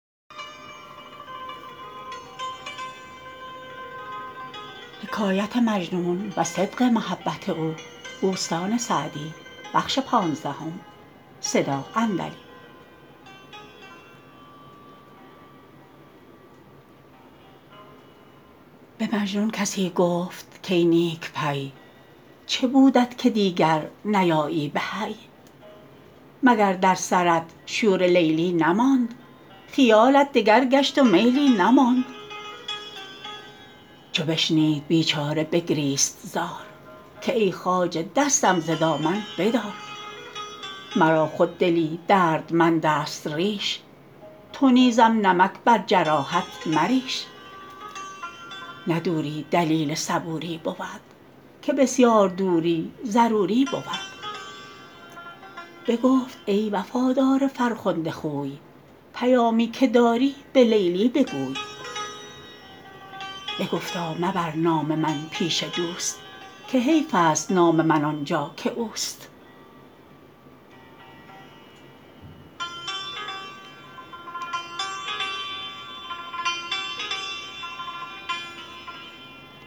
به مجنون کسی گفت کای نیک پی چه بودت که دیگر نیایی به حی مگر در سرت شور لیلی نماند خیالت دگر گشت و میلی نماند چو بشنید بیچاره بگریست زار که ای خواجه دستم ز دامن بدار مرا خود دلی دردمند است ریش تو نیزم نمک بر جراحت مریش نه دوری دلیل صبوری بود که بسیار دوری ضروری بود بگفت ای وفادار فرخنده خوی پیامی که داری به لیلی بگوی بگفتا مبر نام من پیش دوست که حیف است نام من آنجا که اوست